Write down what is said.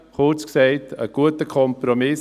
Kurz gesagt: ein guter Kompromiss.